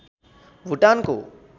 भूटानको